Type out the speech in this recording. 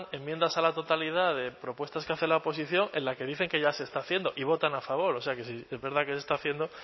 enmiendas a la totalidad de propuestas que hace la oposición en la que dicen que ya se está haciendo y votan a favor o sea que si es verdad que se está haciendo